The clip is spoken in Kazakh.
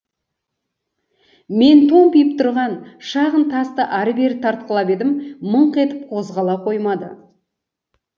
мен томпиып тұрған шағын тасты ары бері тартқылап едім мыңқ етіп қозғала қоймады